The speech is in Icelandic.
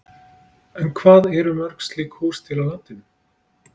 En hvað eru mörg slík hús til á landinu?